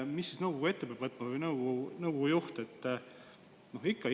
Mida peab nõukogu või nõukogu juht sel juhul ette võtma?